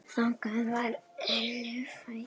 Þannig var Elli frændi.